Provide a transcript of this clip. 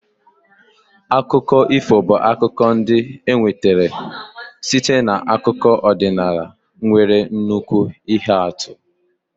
Akụkọ ifo bụ akụkọ ndị e nwetara site n'akụkọ ọdịnala nwere nnukwu ihe atụ.